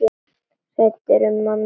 Hræddur um að missa hana.